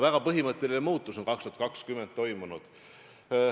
Väga põhimõtteline muutus on aastal 2020 toimunud.